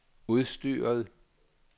udstyret